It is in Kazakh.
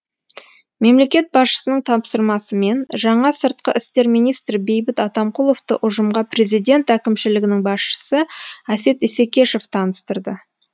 мемлекет басшысының тапсырмасымен жаңа сыртқы істер министрі бейбіт атамқұловты ұжымға президент әкімшілігінің басшысы әсет исекешев таныстырды